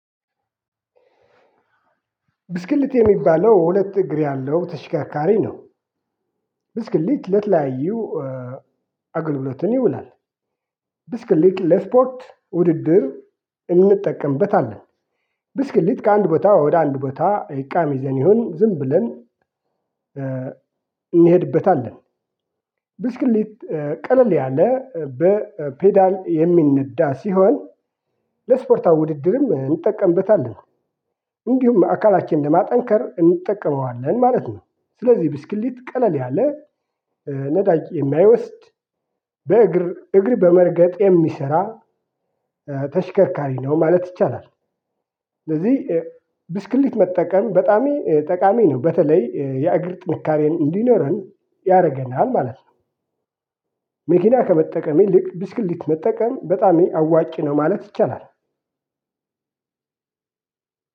ብስክሌት የሚባለው ሁለት እግር ያለው ተሽከርካሪ ነው። ብስክልት ለትለያዩ አገልግሎትን ይውላል። ብስክሌት ለስፖርት ውድድር እንጠቀምበታለን። ብስክሌት ከአንድ ቦታ ወደ አንድ ቦታ እቃም ይዘን ይሁን ዝም ብለን እንሄድበታለን። ብስክሌት ቀለል ያለ በፔዳል የሚነዳ ሲሆን ለስፖርታዊ ውድድርም እንጠቀምበታለን። እንዲሁም ለአካላችን ለማጠንከር እንጠቀመዋለን ማለት ነው። ስለዚህ ብስክሌት ቀለል ያለ ነዳጅ የማይወስድ በእግር እግር በመርገጥ የሚሰራ ተሽከርካሪ ነው ማለት ይቻላል። ስለዚህ ብስክሌት መጠቀም በጣም ጠቃሚ ነው በተለይ የእግር ጥንካሬ እንዲኖረን ያረገናል ማለት ነው። መኪና ከመጠቀም ይልቅ ብስክሌት መጠቀም በጣም አዋጭ ነው ማለት ይቻላል።